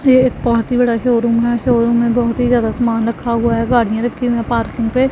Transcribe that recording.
ये एक बहोत ही बड़ा शोरूम है शोरूम में बहोत ही ज्यादा सामान रखा हुआ है गाड़ियां रखी हुई हैं पार्किंग पे--